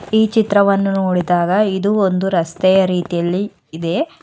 ಈ ಚಿತ್ರವನ್ನು ನೋಡಿದಾಗ ಇದು ಒಂದು ರಸ್ತೆಯ ರೀತಿಯಲ್ಲಿ ಇದೆ.